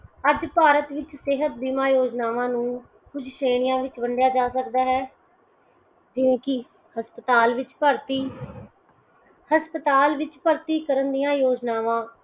ਅੱਜ ਭਾਰਤ ਵਿੱਚ ਸਿਹਤ ਬੀਮਾ ਯੋਜਨਾਵਾਂ ਨੂੰ ਕੁਝ ਸ਼੍ਰੇਣੀਆਂ ਵਿਚ ਵੰਡਿਆ ਜਾ ਸਕਦਾ ਹੈ ਜਿਵੇਂ ਕਿ ਹਸਪਤਾਲ ਵਿੱਚ ਭਰਤੀ, ਹਸਪਤਾਲ ਵਿੱਚ ਭਰਤੀ ਕਰਨ ਦੀਆਂ ਯੋਜਨਾਵਾਂ